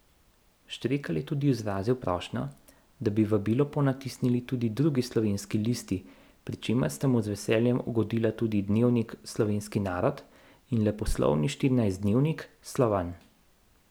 Štrekelj je tudi izrazil prošnjo, da bi vabilo ponatisnili tudi drugi slovenski listi, pri čemer sta mu z veseljem ugodila tudi dnevnik Slovenski narod in leposlovni štirinajstdnevnik Slovan.